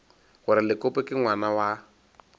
gore lekope ke ngwana wa